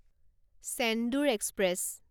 Chendur express